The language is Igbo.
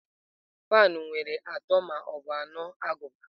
Fans nwere ma atọ ma ọ bụ anọ agụba.